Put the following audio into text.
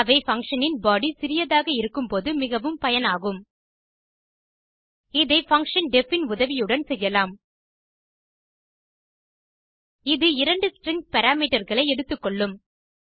அவை பங்ஷன் இன் பாடி சிறியதாக இருக்கும் போது மிகவும் பயனாகும் இதை பங்ஷன் deff இன் உதவியுடன் செய்யலாம் இது இரண்டு ஸ்ட்ரிங் parameterகளை எடுத்துக்கொள்ளும்